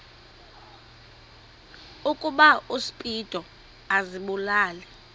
ukuba uspido azibulale